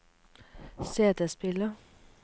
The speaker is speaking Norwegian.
CD-spiller